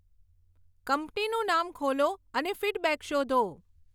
કંપનીનું નામ ખોલો અને ફીડબેક શોધો